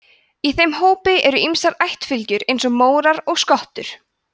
í þeim hópi eru ýmsar ættarfylgjur eins og mórar og skottur